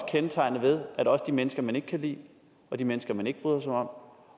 kendetegnet ved at også de mennesker man ikke kan lide og de mennesker man ikke bryder sig om